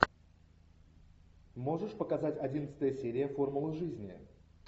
можешь показать одиннадцатая серия формула жизни